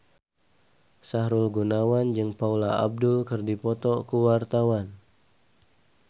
Sahrul Gunawan jeung Paula Abdul keur dipoto ku wartawan